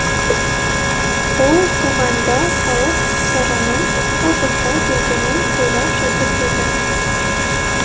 ол туғанда халық сараның алпысқа келгенін тойлап жатыр еді